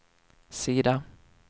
sida